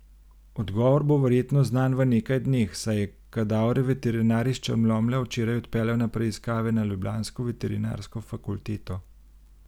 Odgovor bo verjetno znan v nekaj dneh, saj je kadavre veterinar iz Črnomlja včeraj odpeljal na preiskave na ljubljansko veterinarsko fakulteto.